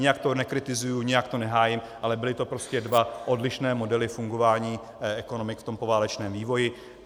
Nijak to nekritizuji, nijak to nehájím, ale byl to prostě dva odlišné modely fungování ekonomik v tom poválečném vývoji.